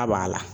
A b'a la